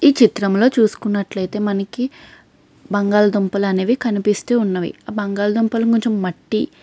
ఈ చిత్రంలో చూసుకున్నట్లైతే మనకి బంగాళదుంపలు కనిపిస్తున్నాయి. ఆ బంగాళదుంపలు మట్టి --